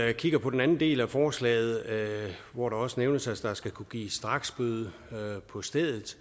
vi kigger på den del af forslaget hvor der også nævnes at der skal kunne gives en straksbøde på stedet